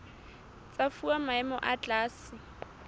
tsa fuwa maemo a tlase